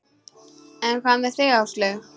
En hvað með þig Áslaug?